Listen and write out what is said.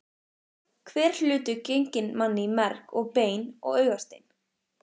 Hver hlutur genginn manni í merg og bein og augastein.